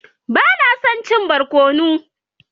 Ba na son cin barkono.